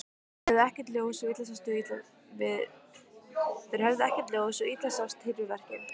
Þeir höfðu ekkert ljós, svo illa sást til við verkið.